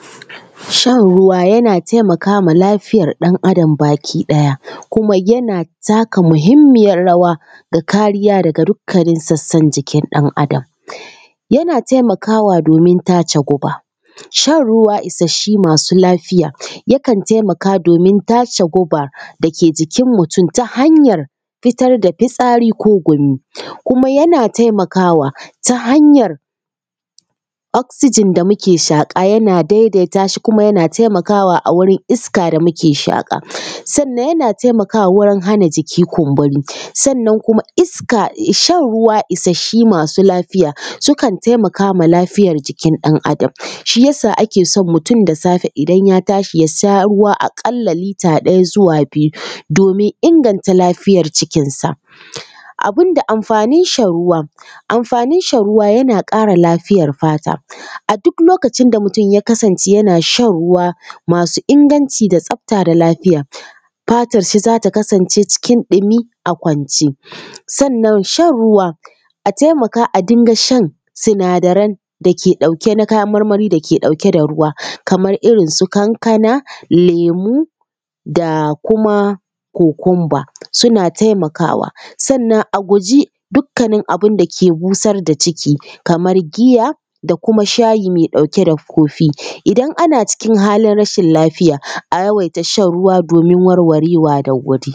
Shan ruwa yana taimaka ma lafiyar ɗan Adam baki ɗaya kuma yana taka muhimmiyar rawa da kariya daga dukkanin sassan jikin ɗan Adam. Yana taimakwa domin tace guba. Shan ruwa isasshe masu lafiya, yakan taimaka domin tace guba da ke jikin mutum ta hanyar fitar da fitsari ko gumi, kuma yana taimakawa ta hanyar oxygen da muke shaƙa yana daidaita shi kuma yana taimakawa a wurin iska da muke shaƙa. Sannan yana taimakawa wajen hana jiki kumburi. Sannan kuma iska… shan ruwa isasshe masu lafiya sukan taimaka ma lafiyar jikin ɗan Adam, shi ya sa ake son mutum da safe idan ya tashi, a ƙalla ya sha ruwa lita ɗaya zuwa biyu domin inganta lafiyar cikinsa. Abinda amfanin shan ruwan: amfanin shan ruwa yana ƙara lafiyar fata. A duk lokacin da mutum ya kasance yana shan ruwa masu inganci da tsafta da lafiya, fatarshi za ta kasance cikin ɗumi a kwance. Sannan shan ruwa, a taimaka a dinga shan sinadaran da ke ɗauke na kayan marmari da ke ɗauke da ruwa, kamar irin su kankana, lemu da kuma kukumba, suna taimakawa. Sannan a guji dukkanin abin da ke busar da ciki kamar giya da kuma shayi mai ɗauke da coffee. Idan ana cikin halin rashin lafiya, a yawaita shan ruwa domin warwarewa da wuri.